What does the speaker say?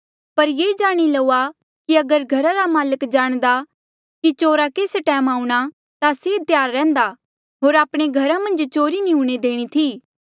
पर ये जाणी लऊआ कि अगर घरा रा माल्क जाणदा कि चोरा केस टैम आऊंणा ता से त्यार रैहन्दा होर आपणे घरा मन्झ चोरी नी हूणे देणी थी